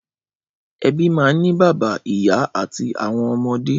Ẹbí máa ń ní bàbá, ìyá àti àwọn ọmọdé.